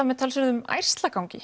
með talsverðum